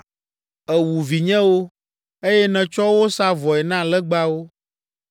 Èwu vinyewo, eye nètsɔ wo sa vɔe na legbawo.